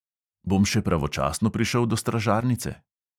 "Bom še pravočasno prišel do stražarnice?"